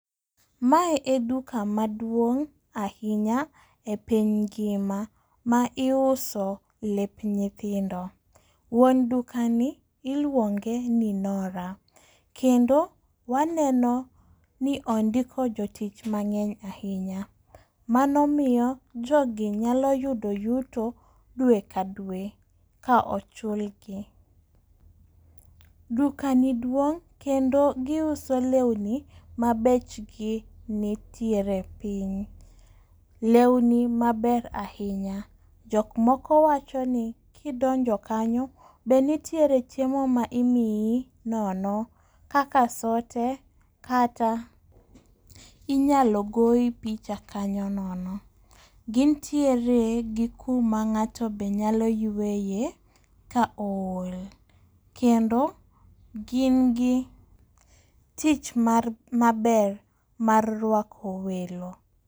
Mae e duka maduong' ahinya e piny ngima ma iuso lep nyithindo. Wuon duka ni iluonge ni Nora kendo waneno ni ondiko jotich mang'eny ahinya. Mano miyo jogi nyalo yudo yuto dwe ka dwe ka ochul gi. Duka ni duong' kendo giuso lewni mabechgi nitiere piny. Lewni maber ahinya jok moko wacho ni kidonjo kanyo be nitiere chiemo ma imiyi nono kaka sote kata inyalo goyi picha kanyo nono. Gintiere gi kuma ng'ato be nyalo yueye ka ool kendo gin gi tich mar maber mar rwako welo.